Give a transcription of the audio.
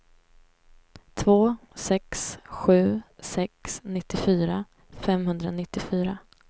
två sex sju sex nittiofyra femhundranittiofyra